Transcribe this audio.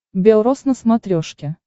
бел рос на смотрешке